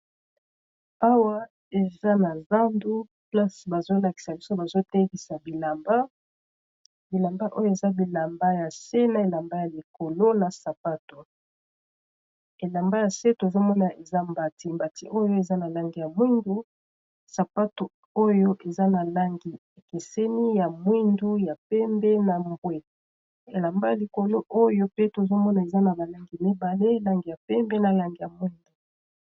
awa eza na zandu plase bazolakisa biso bazotelisa bilamba bilamba oyo eza bilamba ya nse na elamba ya likolo na sapato elamba ya se tozomona eza mbati mbati oyo eza na langi ya mwindu sapato oyo eza na langi ekeseni ya mwindu ya mpembe na mbwe elamba ya likolo oyo pe tozomona eza na balangi mibale elangi ya pembe na lange ya mwindu